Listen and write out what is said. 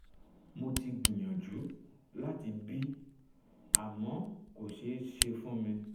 mo ti gbìyànjú láti bì àmọ́ kò ṣeé ṣe fún mi